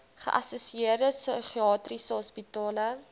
geassosieerde psigiatriese hospitale